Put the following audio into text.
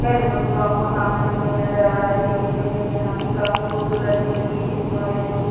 Hello दोस्तों आपको सामने बिल्डिंग नजर आ रही है ये बिल्डिंग यहाँ की काफी खूबसूरत बिल्डिंग है इस मोहल्ले की।